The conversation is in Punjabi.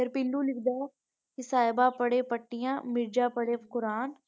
ਪੀਲੂ ਲਿਖਦਾ ਸਾਹਿਬਾ ਪੜ੍ਹੇ ਪੱਟੀਆਂ ਤੇ ਮਿਰਜ਼ਾ ਪੜ੍ਹੇ ਕੁਰਾਨ।